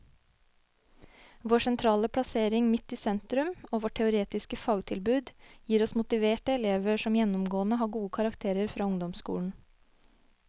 Vår sentrale plassering midt i sentrum og vårt teoretiske fagtilbud gir oss motiverte elever som gjennomgående har gode karakterer fra ungdomsskolen.